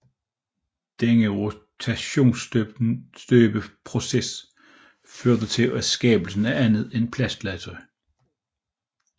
Denne rotationsstøbeproces førte til skabelsen af andet plastlegetøj